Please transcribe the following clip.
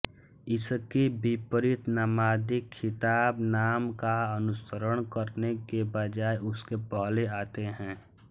इसके विपरीत नामादि ख़िताब नाम का अनुसरण करने के बजाय उसके पहले आते हैं